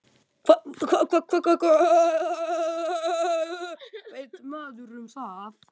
Hvað veit maður um það?